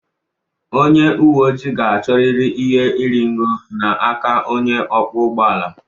Onye uwe ojii ga-achọrịrị ihe iri ngo n'aka onye ọkwọ ụgbọ ala